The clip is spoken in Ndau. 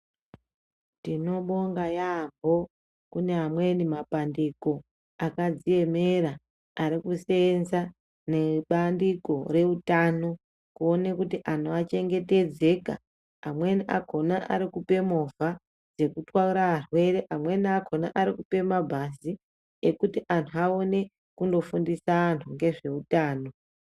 Tinobonga yambo kune amweni mapandiko akadziemera arikuseenza nebandiko reutano kuone kuti antu achengetedzeka amweni akona arikupe movha dzekuti altwara arwere amweni arikupa mabhazi ekuti antu aone kunofundisa antu nezveutano.